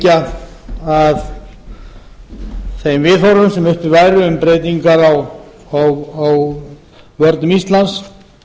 vék að þeim viðhorfum sem uppi væru um breytingar á vörnum íslands